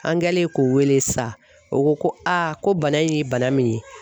An kɛlen k'o wele sa o ko a ko bana in ye bana min ye